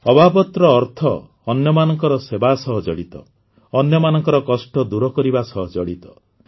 ଅବାବତ୍ ର ଅର୍ଥ ଅନ୍ୟମାନଙ୍କ ସେବା ସହ ଜଡ଼ିତ ଅନ୍ୟମାନଙ୍କ କଷ୍ଟ ଦୂର କରିବା ସହ ଜଡ଼ିତ